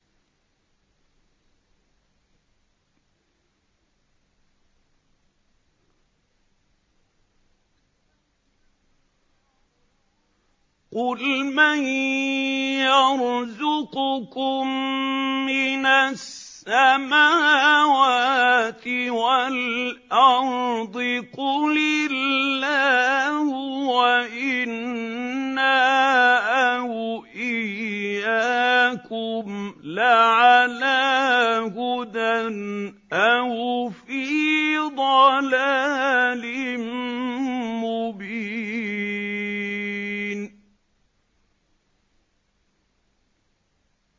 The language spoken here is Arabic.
۞ قُلْ مَن يَرْزُقُكُم مِّنَ السَّمَاوَاتِ وَالْأَرْضِ ۖ قُلِ اللَّهُ ۖ وَإِنَّا أَوْ إِيَّاكُمْ لَعَلَىٰ هُدًى أَوْ فِي ضَلَالٍ مُّبِينٍ